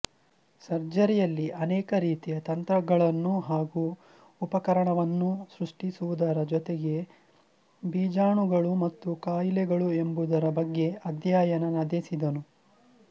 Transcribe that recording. ಸರ್ಜರಿಯಲ್ಲಿ ಅನೇಕ ರೀತಿಯ ತಂತ್ರಗಳನ್ನೂ ಹಾಗೂ ಉಪಕರಣವನ್ನೂ ಸೃಷ್ಟಿಸುವುದರ ಜೊತೆಗೇ ಬೀಜಾಣುಗಳು ಮತ್ತು ಕಾಹಿಲೆಗಳು ಎಂಬುದರ ಬಗ್ಗೆ ಅಧ್ಯಯನ ನದೇಸಿದನು